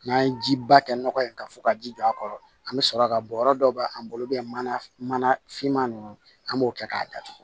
N'an ye jiba kɛ nɔgɔ ye ka fɔ ka ji don a kɔrɔ an bi sɔrɔ ka bɔ yɔrɔ dɔw bɛ an bolo mana mana finman ninnu an b'o kɛ k'a datugu